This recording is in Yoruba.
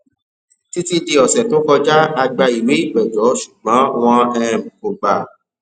títí dì ọsẹ tó kọjá a gbà ìwé ìpẹjọ ṣugbọn wn um kò gbà á